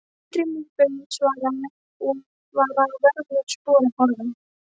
Eldri munkurinn svaraði skætingi og var að vörmu spori horfinn.